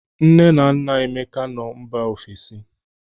Nne na nna Emeka nọ mba ofesi.